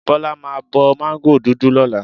Bọ́lá máa bo mango dúdú lọ́la.